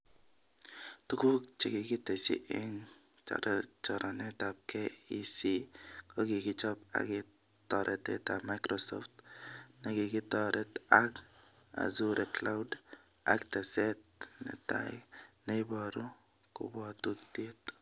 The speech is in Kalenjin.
Tuguk chekikitesyi eng choranetab KEC kokikichob ak toretetab microsoft, nekitoret ak* Azure could*ak teset netai neiboru kabwotutiet